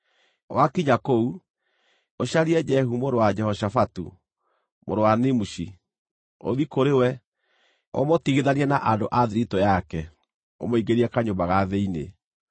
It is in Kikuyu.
Wakinya kũu, ũcarie Jehu mũrũ wa Jehoshafatu, mũrũ wa Nimushi. Ũthiĩ kũrĩ we, ũmũtigithanie na andũ a thiritũ yake, ũmũingĩrie kanyũmba ga thĩinĩ.